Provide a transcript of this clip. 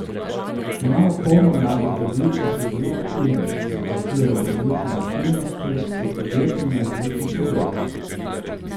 Imamo polno mladih ljudi, ki so zelo aktivni, se vključujejo v različne aktivnosti, so podjetni na različnih področjih.